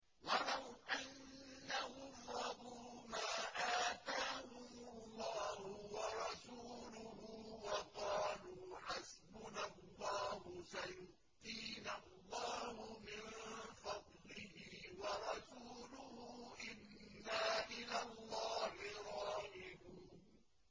وَلَوْ أَنَّهُمْ رَضُوا مَا آتَاهُمُ اللَّهُ وَرَسُولُهُ وَقَالُوا حَسْبُنَا اللَّهُ سَيُؤْتِينَا اللَّهُ مِن فَضْلِهِ وَرَسُولُهُ إِنَّا إِلَى اللَّهِ رَاغِبُونَ